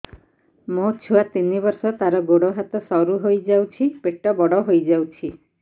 ମୋ ଛୁଆ ତିନି ବର୍ଷ ତାର ଗୋଡ ହାତ ସରୁ ହୋଇଯାଉଛି ପେଟ ବଡ ହୋଇ ଯାଉଛି